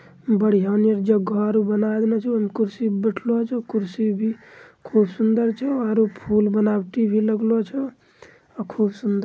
बढ़िया नीरजो घर बना लेलो छेकुर्सी पे बैठलो अछो कुर्सी भी खूब सूंदर छो और फुल बनावटी भी लगलो छो अ खूब सुन्दर --